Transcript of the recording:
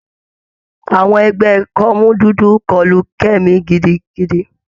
Àwọn ẹgbẹ́ kọ́mú dúdú kọlu Kemi gidigidi.